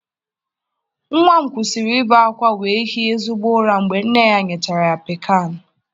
Nwa m kwụsịrị ibe akwa wee hie ezigbo ụra mgbe nne ya nyechara ya Piccan